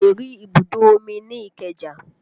O lè rí ibùdó omi ní ìkeja